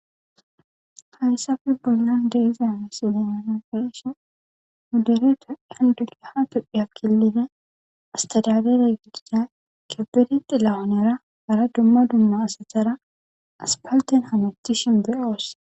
Hayssafe bollan de'iza miisilen nuni be'ishshin nuu dere tophphiya killilen astadadare gidida kebede xi lawonera hara dumma dumma asattara aspalten hamuttishshin be'oos